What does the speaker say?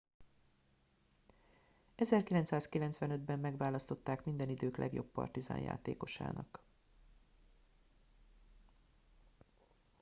1995 ben megválasztották minden idők legjobb partizan játékosának